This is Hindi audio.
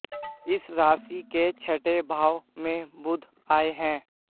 इस राशि के छठे भाव में बुध आए हैं